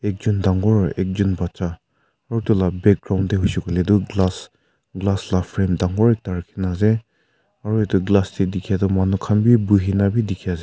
ekjun dangor ekjun bacha utu la background de hoishe koile toh glass glass la frame dangor ekta rakhi na ase aro etu glass de dikhe toh manu khan b buhi na b dikhi ase.